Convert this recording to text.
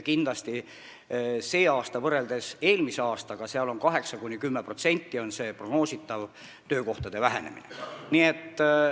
Kindlasti on sellel aastal võrreldes eelmise aastaga prognoositav töökohtade vähenemine 8–10%.